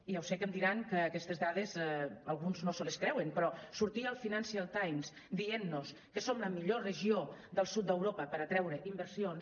i ja ho sé que em diran que aquestes dades alguns no se les creuen però sortir al financial times dient nos que som la millor regió del sud d’europa per atreure inversions